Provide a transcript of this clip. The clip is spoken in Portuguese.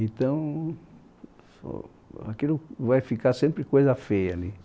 Então... ó aquilo vai ficar sempre coisa feia ali.